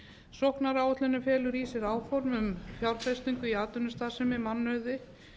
sóknaráætlunin felur í sér áform um fjárfestingu í atvinnustarfsemi mannauði